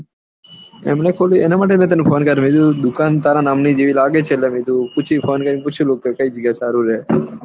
અમને ખોલ્યું એના માટે હું તને ફોન કર્યું હું દુકાન તારા નામ ની જેવી લાગે છે એટલે ફોન કરી પૂછી લઉં કે કઈ જગ્યા સારું રેહ